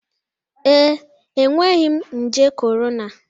Ee, enweghị m nje corona.